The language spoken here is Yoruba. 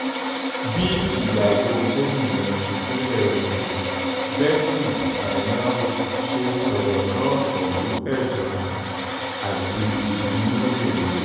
bí ìyàwó gómìnà ìpínlẹ̀ ondo betty anyanwu ṣe sọ̀rọ̀ náà pẹ̀lú ẹ̀dùn ọkàn àti ìbínú rèé